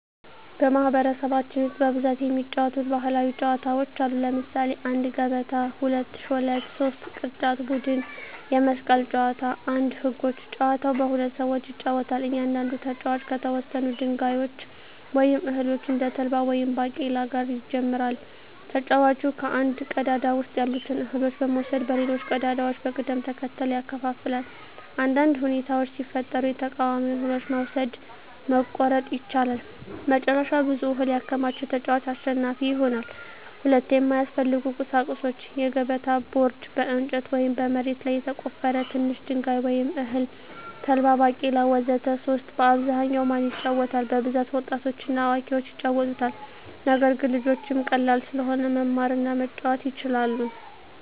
በማኅበረሰባችን ውስጥ በብዛት የሚጫወቱ ባሕላዊ ጨዋታዎች አሉ። ለምሳሌ 1, ገበታ 2, ሾለት 3, ቅርጫት ቡድን የመስቀል ጨዋታ 1. ህጎች : ጨዋታው በሁለት ሰዎች ይጫወታል። እያንዳንዱ ተጫዋች ከተወሰኑ ድንጋዮች ወይም እህሎች (እንደ ተልባ ወይም ባቄላ) ጋር ይጀምራል። ተጫዋቹ ከአንድ ቀዳዳ ውስጥ ያሉትን እህሎች በመውሰድ በሌሎች ቀዳዳዎች በቅደም ተከተል ያከፋፍላል። አንዳንድ ሁኔታዎች ሲፈጠሩ የተቃዋሚውን እህሎች መውሰድ (መቆረጥ) ይቻላል። መጨረሻ ብዙ እህል ያከማቸ ተጫዋች አሸናፊ ይሆናል። 2. የሚያስፈልጉ ቁሳቁሶች: የገበታ ቦርድ (በእንጨት ወይም በመሬት ላይ የተቆፈረ) ትንሽ ድንጋይ ወይም እህል (ተልባ፣ ባቄላ ወዘተ) 3. በአብዛኛው ማን ይጫወታል? በብዛት ወጣቶችና አዋቂዎች ይጫወቱታል። ነገር ግን ልጆችም ቀላል ስለሆነ መማር እና መጫወት ይችላሉ።